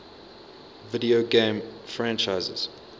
video game franchises